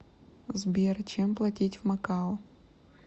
сбер чем платить в макао